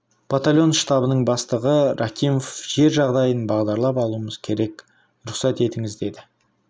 батальон штабының бастығы рахимов жер жағдайын бағдарлап алуымыз керек рұқсат етіңіз деді